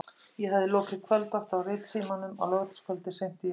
Ég hafði lokið kvöldvakt á Ritsímanum á laugardagskvöldi seint í janúar.